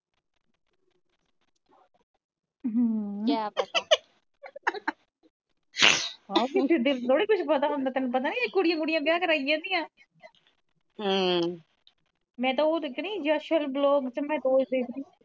ਕਿਆ ਪਤਾ ਕਿਸੇ ਦੇ ਦਲ ਦਾ ਥੋੜੀ ਕੁਛ ਪਤਾ ਹੁੰਦਾ ਤੈਨੂੰ ਪਤਾ ਨਹੀਂ ਕੁੜੀਆਂ ਕੁੜੀਆਂ ਬਿਆਹ ਕਰਾਈ ਜਾਂਦੀਆਂ ਮੈ ਤਾ ਉਹ ਦੇਖਣੀ ਯਸ਼ਲ blog ਤੇ ਮੈ ਰੋਜ਼ ਦੇਖਦੀ।